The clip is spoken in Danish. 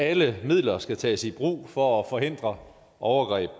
alle midler skal tages i brug for at forhindre overgreb